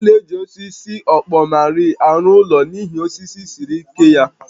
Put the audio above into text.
A na-eji osisi ọkpọmarị arụ ụlọ n'ihi osisi siri ike ya